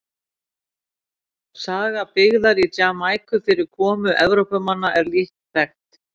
saga byggðar á jamaíku fyrir komu evrópumanna er lítt þekkt